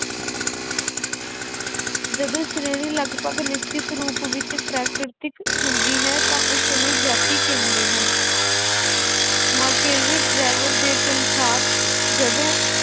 ਜਦੋਂ ਸ਼੍ਰੇਣੀ ਲਗਪਗ ਨਿਸ਼ਚਿਤ ਰੂਪ ਵਿੱਚ ਪ੍ਰਾਕਿਰਤਕ ਹੁੰਦੀ ਹੈ ਤਾਂ ਉਸਨੂੰ ਜਾਤੀ ਕਹਿੰਦੇ ਹਨ ਦੇ ਅਨੁਸਾਰ ਜਦੋਂ